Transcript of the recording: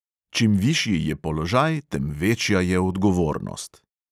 Čim višji je položaj, tem večja je odgovornost.